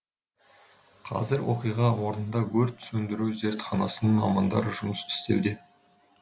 қазір оқиға орнында өрт сөндіру зертханасының мамандары жұмыс істеуде